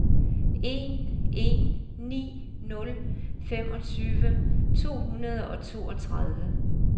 en en ni nul femogtyve to hundrede og toogtredive